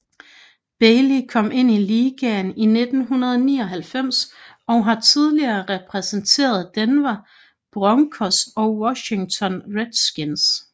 Bailey kom ind i ligaen i 1999 og har tidligere repræsenteret Denver Broncos og Washington Redskins